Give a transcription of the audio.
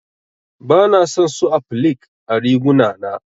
Bana son su applique ã riguna na.